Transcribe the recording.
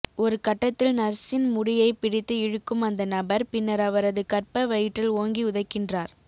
ஒரு கட்டத்தில் நர்ஸின் முடியை பிடித்து இழுக்கும் அந்த நபர் பின்னர் அவரது கர்ப்ப வயிற்றில் ஓங்கி உதைக்கின்றார்